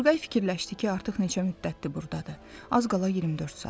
Turqay fikirləşdi ki, artıq neçə müddətdir burdadır, az qala 24 saat.